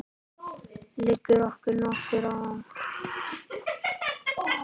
Liggur okkur nokkuð á?